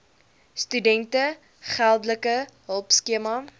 studente geldelike hulpskema